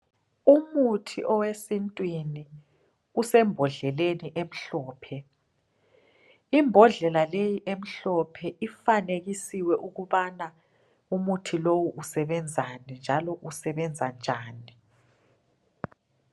Umuthi owesintwini usembodleleni emhlophe. Imbodlela leyi emhlophe ifanekisiwe ukubana umuthi lowu usebenzani njalo usebenza njani.